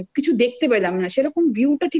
দেখতে পেলাম না